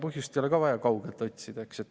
Põhjust ei ole vaja kaugelt otsida.